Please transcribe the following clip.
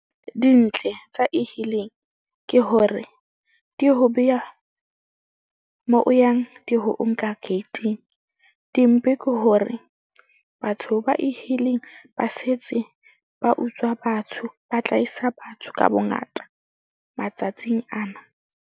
Dintle tsa E-hailing ke hore di ho beha moo o yang. Di ho nka gate-ing. Dimpe ke hore batho ba E-hailing ba setse ba utswa batho ba tlaisa batho ka bongata matsatsing ana.